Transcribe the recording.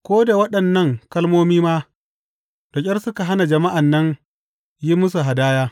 Ko da waɗannan kalmomi ma, da ƙyar suka hana jama’an nan yin musu hadaya.